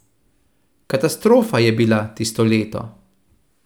Katastrofa je bila tisto leto.